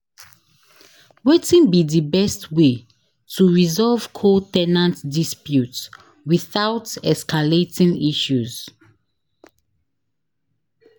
Wetin be di best way to resolve co- ten ant dispute without escalating issues?